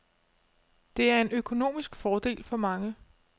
Det er en økonomisk fordel for mange.